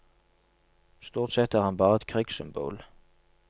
Stort sett er han bare et krigssymbol.